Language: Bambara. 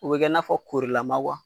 U bɛ kɛ n'a fɔ korilama wa.